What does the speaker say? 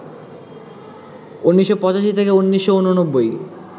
১৯৮৫ থেকে ১৯৮৯